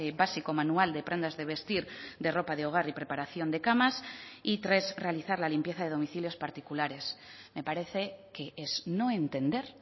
básico manual de prendas de vestir de ropa de hogar y preparación de camas y tres realizar la limpieza de domicilios particulares me parece que es no entender